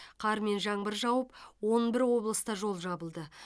қар мен жаңбыр жауып он бір облыста жол жабылды